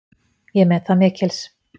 Ég met það mikils.